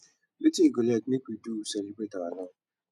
wetin you go like make we do celebrate our love